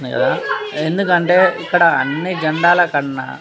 నిల ఆడుకు అంటే అని రకాల జేనదల కన్నా